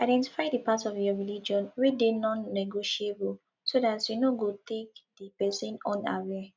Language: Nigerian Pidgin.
identify di part of your religion wey dey nonnegotiable so dat you no go take di person unaware